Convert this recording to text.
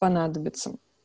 понадобится